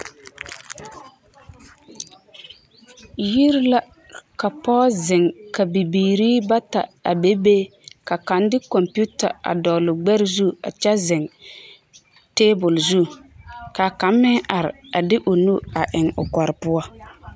Yiri la ka pɔge zeŋ ka bibiiri bata a bebe ka kaŋ de computer a dɔgle o gbɛre zu a kyɛ zeŋ table zu ka kaŋ meŋ are a de o nu eŋ o kɔre poɔ.